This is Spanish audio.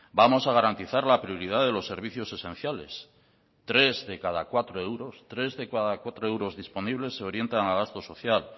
vamos a garantizar la prioridad de los servicios esenciales tres de cada cuatro euros tres de cada cuatro euros disponibles se orientan a gastos social